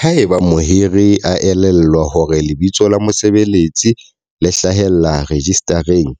Haeba mohiri a elellwa hore lebitso la mosebeletsi le hlahellla rejistareng,